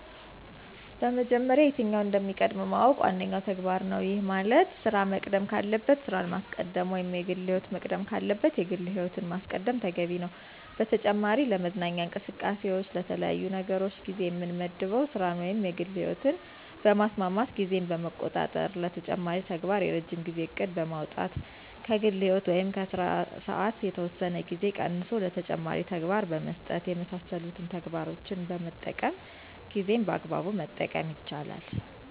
በመጀመሪያ የትኛው እንደሚቀድም ማወቅ ዋነኛው ተግባር ነው። ይህ ማለት ስራ መቅደም ካለበት ስራን ማስቀደም ወይም የግል ህይወት መቅደም ካለበት የግል ህይወትን ማስቀደም ተገቢ ነው። በተጨማሪ ለመዝናኛ እንቅስቃሴዎች ለተለያዩ ነገሮች ጊዜ የምመድበው ስራን ወይም የግል ህይወትን በማስማማት ጊዜን በመቆጣጠር ለተጨማሪ ተግባር የረጅም ጊዜ እቅድ በማውጣት ከግል ህይወት ወይም ከስራ ሰዓት የተወሰነ ጊዜ ቀንሶ ለተጨማሪ ተግባር በመስጠት የመሳሰሉትን ተግባሮችን በመጠቀም ጊዜን በአግባቡ መጠቀም ይቻላል።